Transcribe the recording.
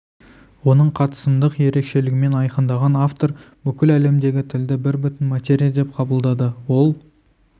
оның қатысымдық ерекшелігімен айқындаған автор бүкіл әлемдегі тілді бір бүтін материя деп қабылдады ол